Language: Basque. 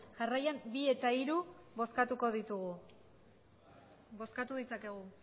jarraian bi eta hiru bozkatuko ditugu bozkatu ditzakegu